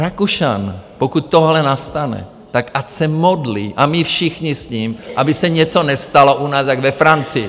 Rakušan, pokud tohle nastane, tak ať se modlí a my všichni s ním, aby se něco nestalo u nás jako ve Francii.